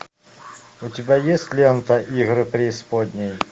у тебя есть лента игры преисподней